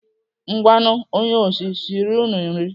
Ngwanụ onye osi siri unu nri.